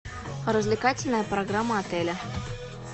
развлекательная программа отеля